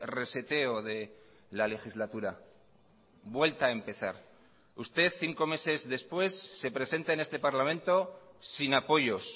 reseteo de la legislatura vuelta a empezar usted cinco meses después se presenta en este parlamento sin apoyos